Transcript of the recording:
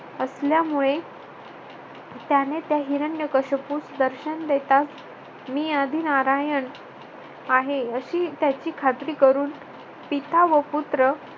असल्यामुळे त्याने हिरण्यकश्यपुस दर्शन देता मी आदिनारायण आहे. अशी त्याची खात्री करून पिता व पुत्र